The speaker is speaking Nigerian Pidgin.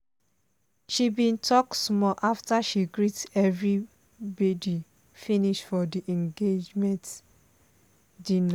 she bin talk small after she greet everibidu finish for di engaement dinner.